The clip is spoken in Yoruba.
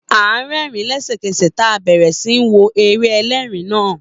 A rẹ́ẹ̀rín lésẹ̀kẹsẹ̀ taa bẹ̀rẹ̀ sí ní wo eré ẹlẹ́rin naa